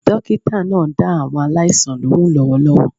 Dókítà náà ń dá àwọn aláìsàn lóhùn lówólówó